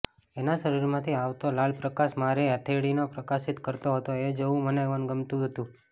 એના શરીરમાંથી આવતો લાલ પ્રકાશ મારી હથેળીને પ્રકાશિત કરતો હતો એ જોવું મને ગમતું હતું